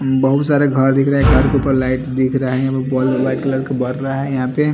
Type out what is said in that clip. बहुत सारे घर दिखरे कार के उपर लाइट दिखरा है बॉल वाइट कलर का बर रहा है यहा पे--